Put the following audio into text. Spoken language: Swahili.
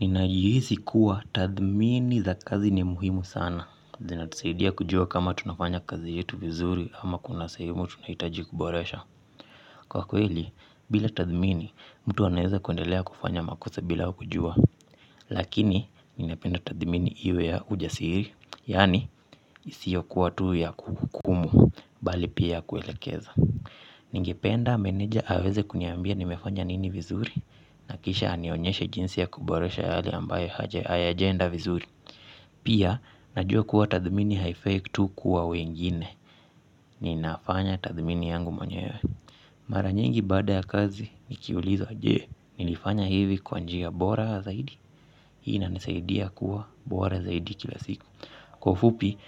Ninajihisi kuwa tathmini za kazi ni muhimu sana. Zinatusaidia kujua kama tunafanya kazi yetu vizuri ama kuna sehemu tunahitaji kuboresha. Kwa kweli, bila tathmini, mtu anaeza kuendelea kufanya makosa bila kujua. Lakini, ninapenda tathmini iwe ya ujasiri, yani, isiyokuwa tuu ya kuhukumu, bali pia kuelekeza. Ningependa meneja aweze kuniambia nimefanya nini vizuri nakisha anionyeshe jinsi ya kuboresha yale ambaye hayajaenda vizuri. Pia, najua kuwa tathmini haifai tu kuwa wengine. Ninafanya tathmini yangu mwenyewe. Mara nyingi baada ya kazi, nikiulizwa je nilifanya hivi kwa njia bora zaidi. Hii inanisaidia kuwa bora zaidi kila siku. Kwa ufupi,